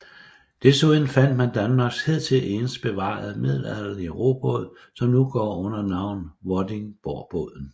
Desuden fandt man Danmarks hidtil eneste bevarede middelalderlige robåd som nu går under navnet Vordingborgbåden